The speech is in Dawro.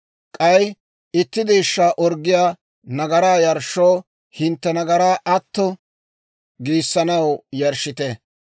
K'ay itti deeshshaa orggiyaa nagaraa yarshshoo, hintte nagaraa atto giissanaw yarshshite.